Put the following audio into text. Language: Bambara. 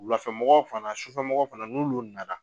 Wulafɛ mɔgɔw fana sufɛ mɔgɔ fana n'ulu na na.